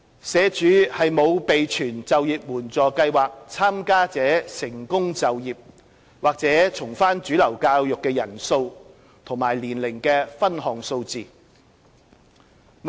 社署沒有備存就業援助計劃參加者成功就業或重返主流教育的人數及年齡的分項數字。